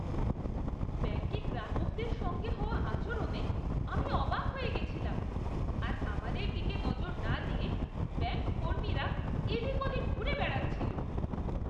ব্যাঙ্কে গ্রাহকদের সঙ্গে হওয়া আচরণে আমি অবাক হয়ে গেছিলাম আর আমাদের দিকে নজর না দিয়ে ব্যাঙ্ক কর্মীরা এদিক ওদিক ঘুরে বেড়াচ্ছিল।